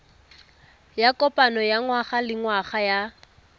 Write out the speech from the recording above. ya kopano ya ngwagalengwaga ya